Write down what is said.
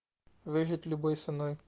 выжить любой ценой